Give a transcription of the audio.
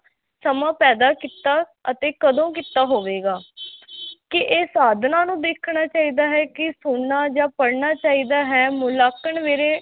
ਸਮਾਂ ਪੈਦਾ ਕੀਤਾ ਅਤੇ ਕਦੋਂ ਕੀਤਾ ਹੋਵੇਗਾ ਕਿ ਇਹ ਸਾਧਨਾਂ ਨੂੰ ਵੇਖਣਾ ਚਾਹੀਦਾ ਹੈ ਕਿ ਸੁਣਨਾ ਜਾਂ ਪੜ੍ਹਨਾ ਚਾਹੀਦਾ ਹੈ, ਮੁਲਾਂਕਣ ਵੇਲੇ